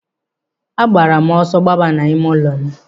A gbara m ọsọ gbaba n'ime ụlọ m.